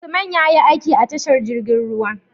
Usman yayi aiki a tashar jirgin ruwa